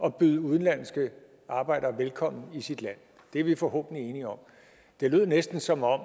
at byde udenlandske arbejdere velkommen i sit land det er vi forhåbentlig enige om det lød næsten som om